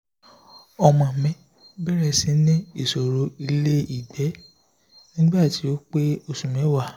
omo mi bere si ni isoro ile igbe nigba ti o pe osu mewa